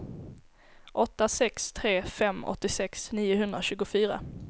åtta sex tre fem åttiosex niohundratjugofyra